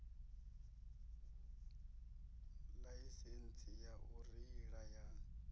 ḽaisentsi ya u reila ya